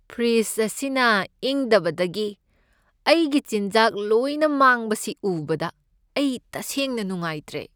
Fridge ꯑꯁꯤꯅ ꯏꯪꯗꯕꯗꯒꯤ ꯑꯩꯒꯤ ꯆꯤꯟꯖꯥꯛ ꯂꯣꯏꯅ ꯃꯥꯡꯕꯁꯤ ꯎꯕꯗ ꯑꯩ ꯇꯁꯦꯡꯅ ꯅꯨꯡꯉꯥꯏꯇ꯭ꯔꯦ꯫